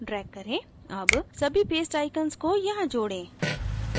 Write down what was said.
add सभी paste icons को यहाँ जोडें